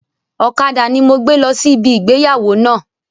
Ọ̀kadà ni mo gbé lọ sí ibi ìgbéyàwó náà